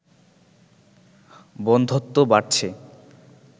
বন্ধ্যত্ব বাড়ছে